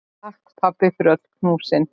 Takk, pabbi, fyrir öll knúsin.